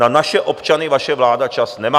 Na naše občany vaše vláda čas nemá.